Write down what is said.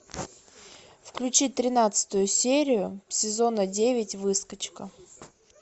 включи тринадцатую серию сезона девять выскочка